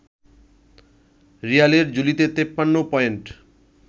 রিয়ালের ঝুলিতে ৫৩ পয়েন্ট